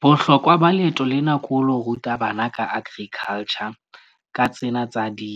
Bohlokwa ba leeto lena ke ho lo ruta bana ka agriculture ka tsena tsa di